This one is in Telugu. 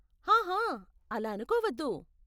హహ, అలా అనుకోవద్దు.